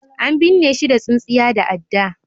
an binne shi da tsintsiya da adda